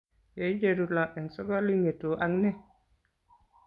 Yeicheru lo eng' sokol ing'etu ak ne ?